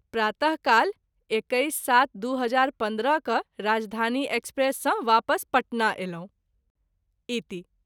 प्रात: काल २१-०७-२०१५ क’ राजधानी एक्सप्रेस सँ वापस पटना अयलहुँ। इति